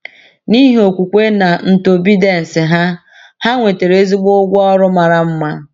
N’ihi okwukwe na ntobedience ha, ha nwetara ezigbo ụgwọ ọrụ mara mma.